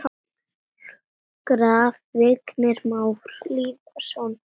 Graf: Vignir Már Lýðsson